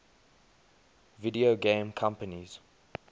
video game companies